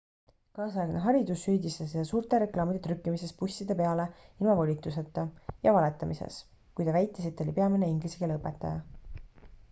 kaasaegne haridus süüdistas teda suurte reklaamide trükkimises busside peale ilma volituseta ja valetamises kui ta väitis et ta oli peamine inglise keele õpetaja